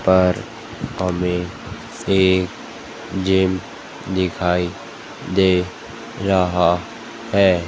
पर हमें से जिम दिखाई दे रहा है।